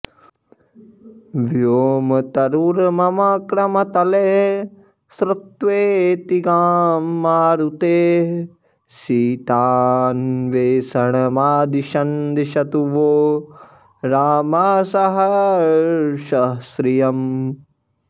व्योमतरुर्मम क्रमतले श्रुत्वेति गां मारुतेः सीतान्वेषणमादिशन् दिशतु वो रामः सहर्षः श्रियम्